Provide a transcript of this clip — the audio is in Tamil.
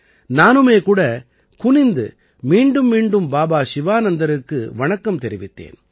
நானுமே கூட குனிந்து மீண்டும் மீண்டும் பாபா சிவானந்தருக்கு வணக்கம் தெரிவித்தேன்